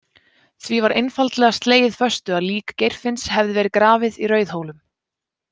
Því var einfaldlega slegið föstu að lík Geirfinns hefði verið grafið í Rauðhólum.